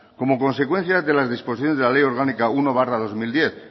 como consecuencia de las disposiciones de la ley orgánica uno barra dos mil diez